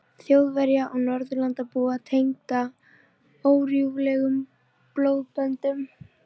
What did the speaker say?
Þjóðverja og Norðurlandabúa tengda órjúfanlegum blóðböndum